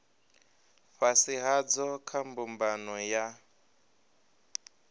fhasi hadzo kha mbumbano ya